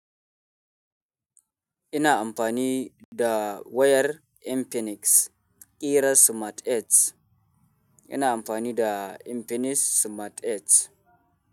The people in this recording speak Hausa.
Ina amfani da wayar Infinix kirar Smart 8. Ina amfani da Infinix Smart 8.